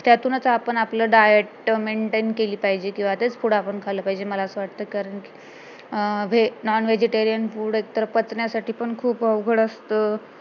त्यातूनच आपण आपलं diet maintain केली पाहिजे तेच food आपण खाल्लं पाहिजे कारण कि अं nonvegitarian food एकतर पचण्यासाठी पण खूप अवघड असतं